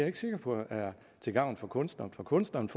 ikke sikker på er til gavn for kunstnerne for kunstnerne